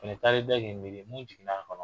taar'i da k'i miiri mun jiginn'a kɔnɔ